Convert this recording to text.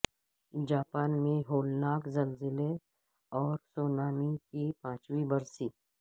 Japan میں ہولناک زلزلے اور سونامی کی پانچویں برسی